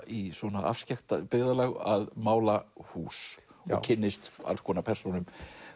í afskekkt byggðarlag að mála hús og kynnist alls konar persónum